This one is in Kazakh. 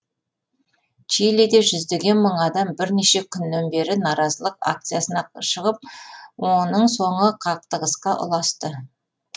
чилиде жүздеген мың адам бірнеше күннен бері наразылық акциясына шығып оның соңы қақтығысқа ұласты